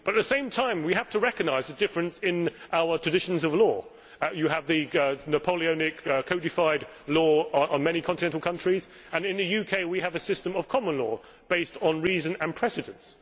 At the same time, we have to recognise the differences in our traditions of law. You have the Napoleonic codified law in many continental countries, and in the UK we have a system of common law, based on reason and precedents.